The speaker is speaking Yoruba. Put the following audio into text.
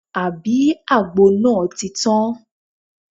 Àbí àgbo náà ti tán?